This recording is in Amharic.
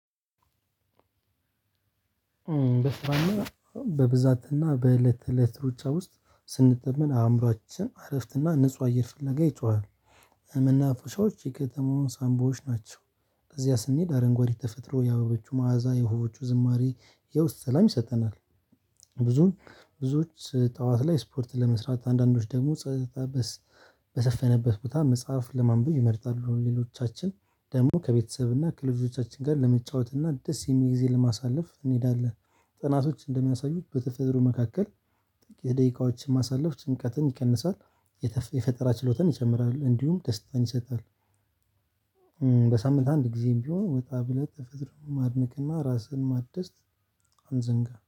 በስራና በብዛትና በእለት እለት ሩጫ ውስጥ ስንጠመድ አእምሮአችን እረፍትና ንጹህ አየር ፍለጋ ይጮሃል። መናፈሻዎች የከተማውን ሳንቦዎች ናቸው እዚያ ስንሄድ አረንጓዴ ተፈጥሮ የአበባዎቹ መዓዛ የወፎቹ ዝማሬ የውስጥ ሰላም ይሰጠናል። ብዙ ብዙዎች ጠዋት ላይ ስፖርት ለመስራት አንዳንዶች ደግሞ ጸጥታ በሰፈነበት ቦታ መጽሐፍ ለማንበብ ይመርጣሉ ሌሎቻችን ደግሞ ከቤተሰብ እና ከልጆቻችን ጋር ለመጫወት እና ደስ የሚል ጊዜ ለማሳለፍ እንሄዳለን። ጥናቶች እንደሚያሳዩት በተፈጥሮ መካከል የደቂቃዎችን ማሳለፍ ጭንቀትን ይቀንሳል። የፈጠራ ችሎታን ይጨምራል እንዲሁም ደስታን ይሰጣል። በሳምንት አንድ ጊዜም ቢሆን ወጣ ብሎ ተፈጥሮ ማድነቅና ራስህን ማደስ። አንዘንጋ